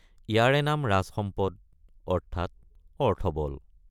ইয়াৰে নাম ৰাজসম্পদ অৰ্থাৎ অৰ্থবল।